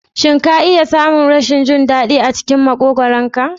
Shin ka taɓa samun wani rashin jin daɗi a cikin makogwaron ka?